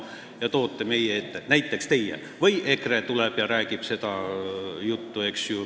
Näiteks teie võite need meie ette tuua või tuleb siia EKRE ja räägib seda juttu.